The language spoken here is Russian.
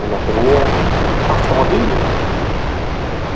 например автомобили